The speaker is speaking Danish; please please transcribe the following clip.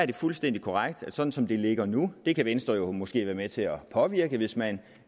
er fuldstændig korrekt at sådan som det ligger nu det kan venstre jo måske være med til at påvirke hvis man